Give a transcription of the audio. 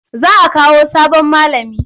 Za a Kawo sabon malami.